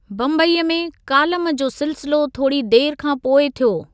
बम्बईअ में कालम जो सिलसिलो थोरी देरि खां पोइ थियो।